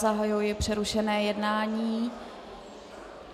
Zahajuji přerušené jednání.